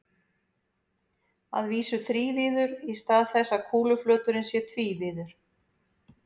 Að vísu þrívíður í stað þess að kúluflöturinn sé tvívíður.